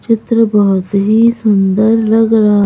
चित्र बहुत ही सुंदर लग रहा--